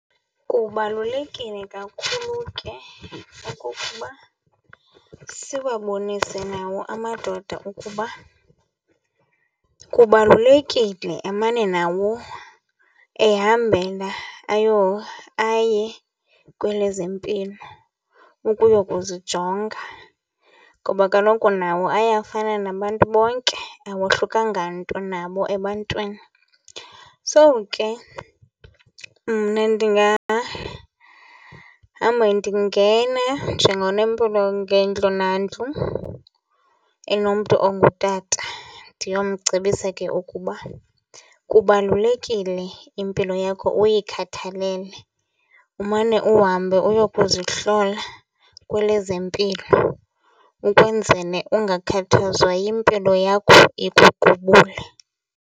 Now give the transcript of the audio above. Kubalulekile kakhulu ke okokuba siwabonise nawo amadoda ukuba kubalulekile emane nawo ehambela aye kwelezempilo ukuyokuzijonga ngoba kaloku nawo ayafana nabantu bonke, awohlukanga nto nabo ebantwini. So ke mna ndingahamba ndingena njengonompilo ngendlu nandlu enomntu ongutata ndiyomcebisa ke ukuba kubalulekile impilo yakho uyikhathalele, umane uhambe uyokuzihlola kwelezempilo ukwenzele ungakhathazwa yimpilo yakho ikuqubule.